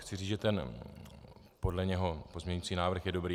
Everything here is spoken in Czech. Chci říci, že ten podle něho pozměňující návrh je dobrý.